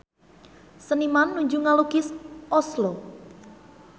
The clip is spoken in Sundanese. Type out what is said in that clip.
Seniman nuju ngalukis Oslo